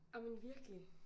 Ej men virkelig